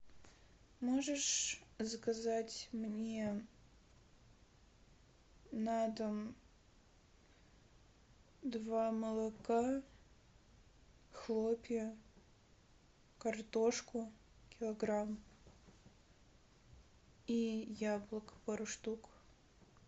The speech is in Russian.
можешь заказать мне на дом два молока хлопья картошку килограмм и яблок пару штук